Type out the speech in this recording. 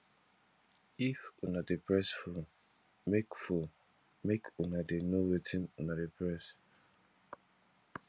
if una dey press phone make phone make una dey no wetin una dey press